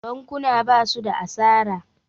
bakuna ba su da asara